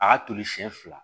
A y'a toli siɲɛ fila